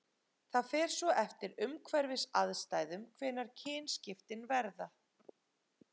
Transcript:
það fer svo eftir umhverfisaðstæðum hvenær kynskiptin verða